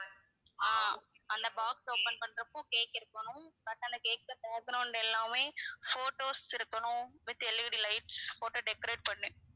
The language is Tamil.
ஆஹ் அந்த box open பண்றப்போ cake இருக்கணும் but அந்த cake ல எல்லாமே photos இருக்கணும் with LED lights போட்டு decorate பண்ணி